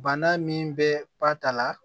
Bana min bɛ ba ta la